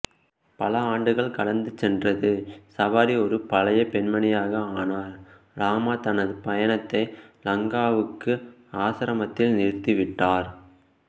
பல ஆண்டுகள் கடந்து சென்றது ஷபாரி ஒரு பழைய பெண்மணியாக ஆனார் ராமா தனது பயணத்தை லங்காவுக்கு ஆசிரமத்தில் நிறுத்திவிட்டார்